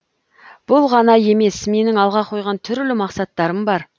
бұл ғана емес менің алға қойған түрлі мақсаттарым бар